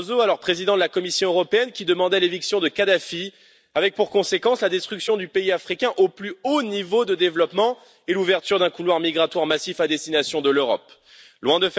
Barroso, alors président de la Commission européenne, qui demandait l'éviction de Kadhafi, avec pour conséquence la destruction du pays africain au plus haut niveau de développement et l'ouverture d'un couloir migratoire massif à destination de l'Europe?. Loin